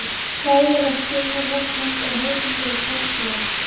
Fræðilegt sjónarhorn hans er hefðbundið og karllægt.